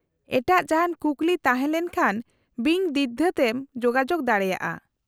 -ᱮᱴᱟᱜ ᱡᱟᱦᱟᱸᱱ ᱠᱩᱠᱞᱤ ᱛᱟᱦᱮᱸ ᱞᱮᱱᱠᱷᱟᱱ ᱵᱤᱱ ᱫᱤᱜᱽᱫᱷᱟᱹ ᱛᱮᱢ ᱡᱳᱜᱟᱡᱳᱜ ᱫᱟᱲᱮᱭᱟᱜᱼᱟ ᱾